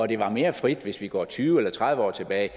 det var mere frit hvis vi går tyve eller tredive år tilbage